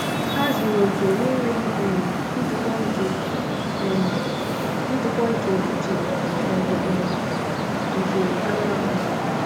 Ha zuru okè, n’enweghị um ntụpọ nke um ntụpọ nke uche ma ọ bụ um nke anụ ahụ.